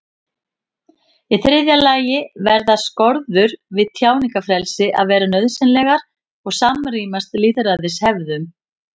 Í þriðja lagi verða skorður við tjáningarfrelsi að vera nauðsynlegar og samrýmast lýðræðishefðum.